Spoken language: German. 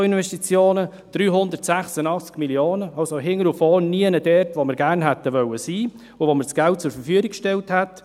Die Nettoinvestitionen betrugen 386 Mio. Franken, waren also hinten und vorne nicht dort, wo wir gerne hätten sein wollen und wo wir das Geld zur Verfügung gestellt hätten.